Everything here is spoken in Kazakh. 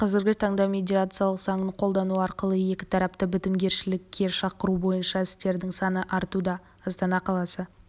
қазіргі таңда медиация заңын қолдану арқылы екі тарапты бітімгершілікке шақыру бойынша істердің саны артуда астана қаласы